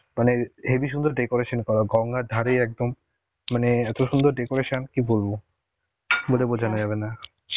মানে হেবি সুন্দর decoration করা, গঙ্গার ধারেই একদম মানে এত সুন্দর decoration কি বলবো, বলে বোঝানো যাবে না.